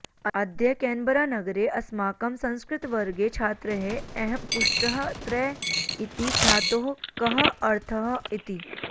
अद्य केन्बरानगरे अस्माकं संस्कृतवर्गे छात्रैः अहं पृष्टः त्रै इति धातोः कः अर्थः इति